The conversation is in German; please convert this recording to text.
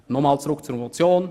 Nochmals zurück zur Motion: